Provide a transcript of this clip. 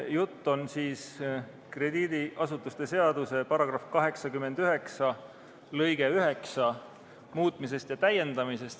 Jutt on krediidiasutuste seaduse § 89 lõike 9 muutmisest ja täiendamisest.